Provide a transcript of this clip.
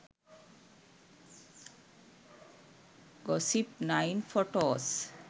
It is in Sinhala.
gossip9 photos